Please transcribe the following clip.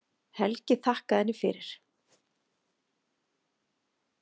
Helgi þakkaði henni fyrir.